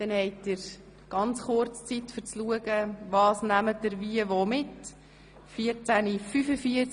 Danach haben Sie kurz Zeit, um zu entscheiden, was Sie mitnehmen möchten.